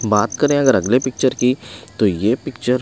बात करें अगर अगले पिक्चर की तो ये पिक्चर--